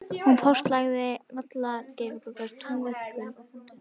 Hún póstlagði vallarsveifgras og túnvingul og puntstrá í stórum stíl.